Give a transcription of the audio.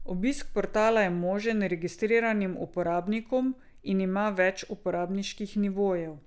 Obisk portala je možen registriranim uporabnikom in ima več uporabniških nivojev.